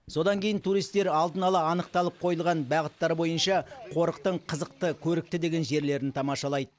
содан кейін туристер алдын ала анықталып қойылған бағыттар бойынша қорықтың қызықты көрікті деген жерлерін тамашалайды